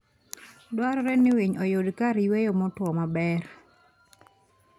Dwarore ni winy oyud kar yueyo motuo maber.